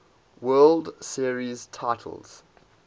world series titles